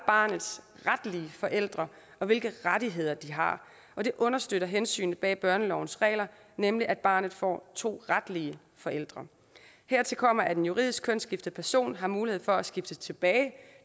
barnets retlige forældre og hvilke rettigheder de har og det understøtter hensynet bag børnelovens regler nemlig at barnet får to retlige forældre hertil kommer at en juridisk kønsskiftet person har mulighed for at skifte tilbage